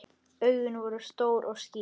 Augun voru stór og skýr.